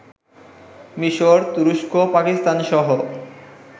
মিশর, তুরস্ক, পাকিস্তানসহ